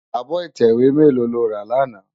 Ábò itèwé mèló ló rá làná?